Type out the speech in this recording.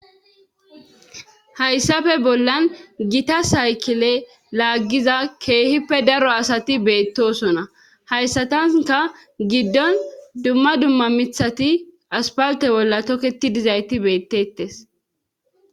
hayssappe bollan gitas haykile laaggiza keehippe daro asati beettosona hayssatanka giddon dumma dumma mithati aspalte bolla tokketidizayti beettettes